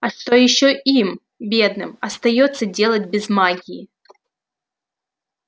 а что ещё им бедным остаётся делать без магии